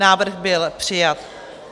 Návrh byl přijat.